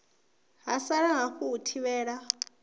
ha sala hafu u thivhela